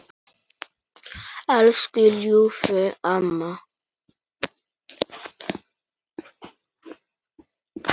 Elsku ljúfa amma.